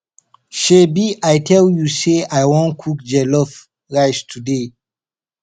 shebi i tell you say i wan cook jollof rice today